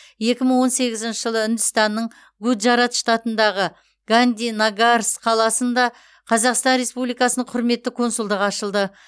екі мың он сегізінші жылы үндістанның гуджарат штатындағы гандинагарс қаласында қазақстан республикасының құрметті консульдығы ашылды